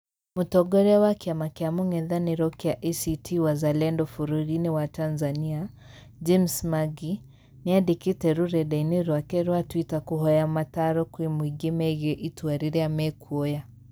Mũtongoria wa kĩama kĩa mũng'ethaniro kĩa ACT-Wazalendo bũrũri-inĩ wa Tanzania, James Mangi, nĩandĩkĩte rureda-inĩ rwake rwa twitter kũhoya mataaro kwĩ mũingĩ megiĩ itua rĩrĩa mekwoya